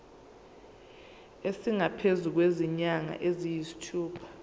esingaphezu kwezinyanga eziyisithupha